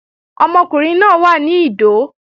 Ọmọkùnrin náà wà ní Ìdó